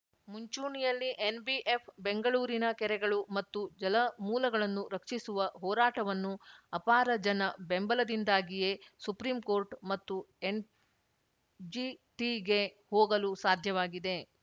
ಮುಂಚೂಣಿಯಲ್ಲಿ ಎನ್‌ಬಿಎಫ್‌ ಬೆಂಗಳೂರಿನ ಕೆರೆಗಳು ಮತ್ತು ಜಲಮೂಲಗಳನ್ನು ರಕ್ಷಿಸುವ ಹೋರಾಟವನ್ನು ಅಪಾರ ಜನ ಬೆಂಬಲದಿಂದಾಗಿಯೇ ಸುಪ್ರೀಂಕೋರ್ಟ್‌ ಮತ್ತು ಎನ್‌ಜಿಟಿಗೆ ಹೋಗಲು ಸಾಧ್ಯವಾಗಿದೆ